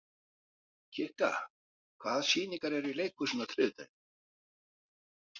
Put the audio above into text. Kikka, hvaða sýningar eru í leikhúsinu á þriðjudaginn?